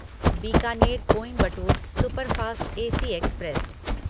Bikaner Coimbatore superfast AC express